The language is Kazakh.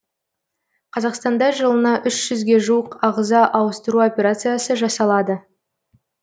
қазақстанда жылына үш жүзге жуық ағза ауыстыру операциясы жасалады